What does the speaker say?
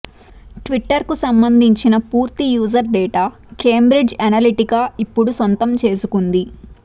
ట్విటర్కు సంబందించిన పూర్తి user data Cambridge Analytica ఇప్పుడు సొంతం చేసుకుంది